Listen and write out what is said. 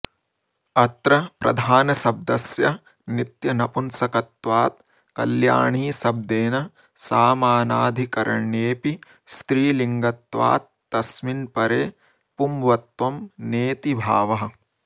अत्र प्रधानशब्दस्य नित्यनपुंसकत्वात् कल्याणीशब्देन सामानाधिकरण्येऽपि स्त्रीलिङ्गत्वात्तस्मिन्परे पुंवत्त्वं नेति भावः